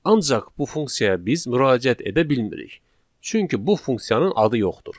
Ancaq bu funksiyaya biz müraciət edə bilmirik, çünki bu funksiyanın adı yoxdur.